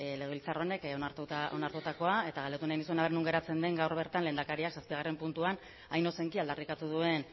legebiltzar honek onartutakoa eta galdetu nahi nizun non geratzen den gaur bertan lehendakariak zazpigarren puntuan hain ozenki aldarrikatu duen